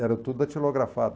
Era tudo datilografado.